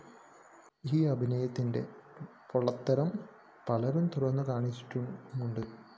ഈ അഭിനയത്തിന്റെ പൊള്ളത്തരം പലരും തുറന്നുകാണിച്ചിട്ടുമുണ്ട്